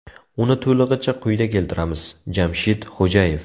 Uni to‘lig‘icha quyida keltiramiz: Jamshid Xo‘jayev.